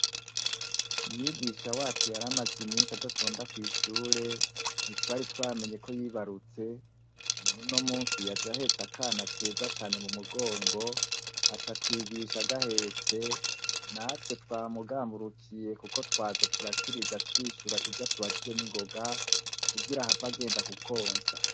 Mwigisha wacu yaramaze imisi adatonda kwishure ntitwari twamenye ko yibarutse nonuno musi yaja ahetse akana keza cane mu mugongo aca twigisha agahetse natwe twa mugamburukiye, kuko twaza turakiriza twishura ivyo tubajije n'ingoga kugira hava agenda kukonsa.